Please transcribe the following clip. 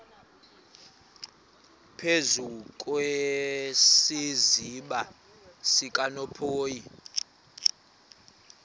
phezu kwesiziba sikanophoyi